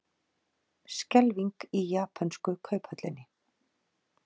Skelfing í japönsku kauphöllinni